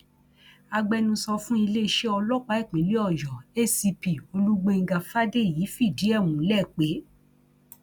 agbẹnusọ fún iléeṣẹ ọlọpàá ìpínlẹ ọyọ acp olùgbèńgá fàdèyí fìdí ẹ múlẹ pé